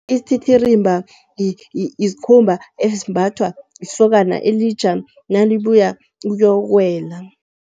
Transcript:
Isititirimba yisikhumba esimbathwa lisokana elitjha nalibuya ukuyokuwela.